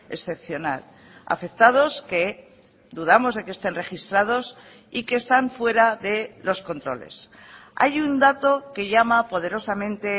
excepcional afectados que dudamos de que estén registrados y que están fuera de los controles hay un dato que llama poderosamente